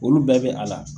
Olu bɛɛ bɛ a la